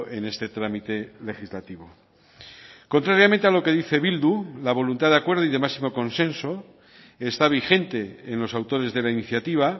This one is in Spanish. en este trámite legislativo contrariamente a lo que dice bildu la voluntad de acuerdo y de máximo consenso está vigente en los autores de la iniciativa